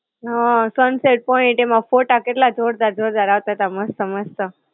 હાં sunset point, એમાં ફોટા કેટલા જોરદાર જોરદાર આવતા તા મસ્ત-મસ્ત.